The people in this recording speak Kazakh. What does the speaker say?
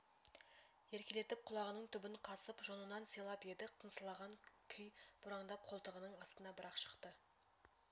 еркелетеп құлағының түбін қасып жонынан сипап еді қыңсылаған күй бұраңдап қолтығының астынан бір-ақ шықты